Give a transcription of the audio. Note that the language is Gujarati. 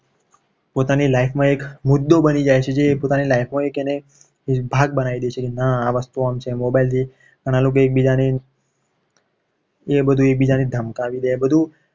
પોતાની life માં એક મુદ્દો બની જાય છે. જે પોતાની life હોય કે નહીં એ ભાગ બનાવી દે છે. કે ના આ વસ્તુ આમ છે. mobile છે. આ લોકો એકબીજાની એ બધું એકબીજાને ધમકાવી દે.